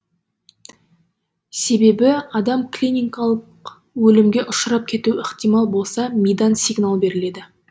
себебі адам клиникалық өлімге ұшырап кетуі ықтимал болса мидан сигнал беріледі